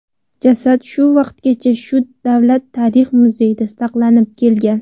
Jasad shu vaqtgacha shu Davlat tarix muzeyida saqlanib kelgan.